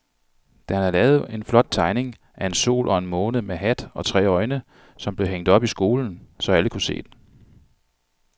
Dan havde lavet en flot tegning af en sol og en måne med hat og tre øjne, som blev hængt op i skolen, så alle kunne se den.